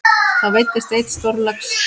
Þá veiddist einn stórlax.